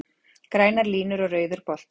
Grænar línur og rauður bolti